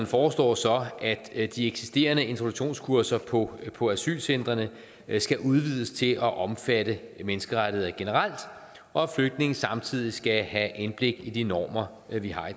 foreslår så at de eksisterende introduktionskurser på på asylcentrene skal udvides til at omfatte menneskerettigheder generelt og at flygtninge samtidig skal have indblik i de normer vi har i